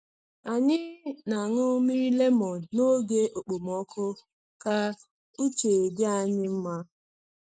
Anyị na-aṅụ mmiri lemon n’oge okpomọkụ ka uche dị anyị mma.